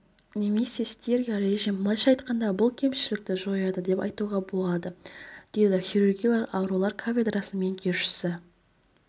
немесе стерео-режим былайша айтқанда бұл кемшілікті жояды деп айтуға болады деді хирургиялық аурулар кафедрасының меңгерушісі